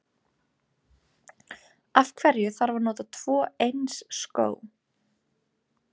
Af hverju þarf að nota tvo eins skó?